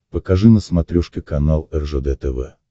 покажи на смотрешке канал ржд тв